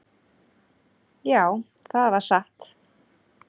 """Já, það var satt."""